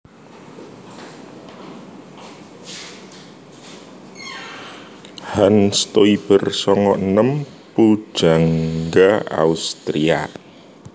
Hans Stoiber sanga enem pujangga Austria